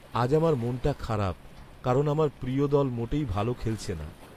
আজ আমার মনটা খারাপ কারণ আমার প্রিয় দল মোটেই ভালো খেলছে না।